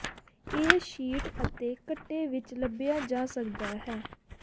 ਇਹ ਸ਼ੀਟ ਅਤੇ ਘੱਟੇ ਵਿੱਚ ਲੱਭਿਆ ਜਾ ਸਕਦਾ ਹੈ